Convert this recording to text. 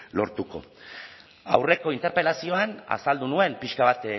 lortuko aurreko interpelazioan azaldu nuen pixka bat